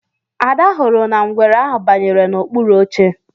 Ada hụrụ na ngwere ahụ bayere na okpuru oche